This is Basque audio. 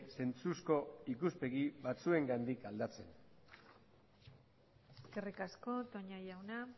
zentzuzko ikuspegi batzuengatik aldatzen eskerrik asko toña jauna